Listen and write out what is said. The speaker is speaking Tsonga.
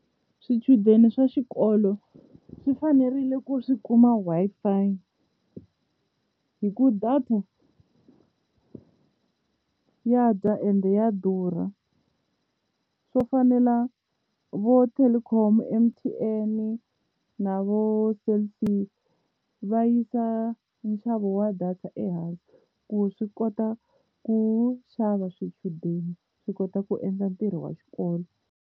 Swichudeni swa xikolo swi fanerile ku swi kuma Wi-Fi hikuva data ya dya ende ya durha, swo fana na vo Telkom, M_T_N na vo Cell C va yisa nxavo wa data ehansi ku swi kota ku xava swichudeni swi kota ku endla ntirho wa xikolo.